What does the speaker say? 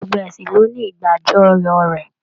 Gbogbo ẹsìn lo ní ìgbà ajọyọ́ rẹ.